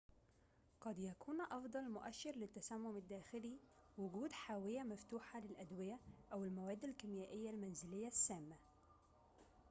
قد يكون أفضل مؤشر للتسمم الداخلي وجود حاوية مفتوحة للأدوية أو المواد الكيميائية المنزلية السامة